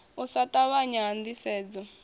u sa ṱavhanya ha ndisedzo